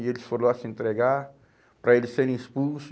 E eles foram lá se entregar para eles serem expulso.